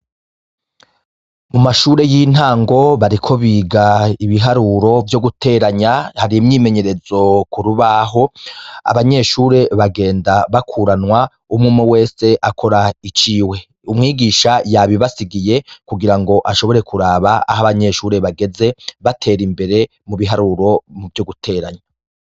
Mu mashure y'intango bariko biga ibiharuro vyo guteranya harimyimenyerezo kurubaho abanyeshure bagenda bakuranwa umwume wese akora iciwe umwigisha yabibasigiye kugira ngo ashobore kuraba aho abanyeshure bageze batera imbere mu biharuro mu vyo guteranyo.